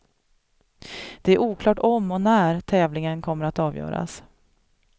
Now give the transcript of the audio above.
Det är oklart om och när tävlingen kommer att avgöras.